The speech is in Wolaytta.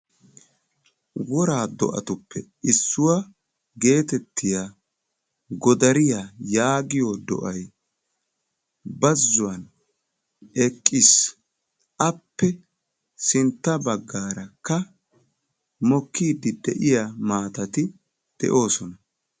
Woraa do'attuppe issoy godaree bazzuwan eqqiis appe sintta bagan maatatti de'osonna.